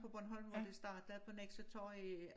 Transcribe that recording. På Bornholm og det startede på Nexø torv i